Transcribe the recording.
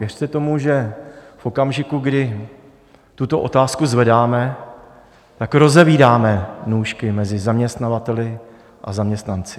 Věřte tomu, že v okamžiku, kdy tuto otázku zvedáme, tak rozevírám nůžky mezi zaměstnavateli a zaměstnanci.